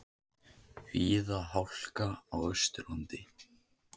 Víða hálka á Austurlandi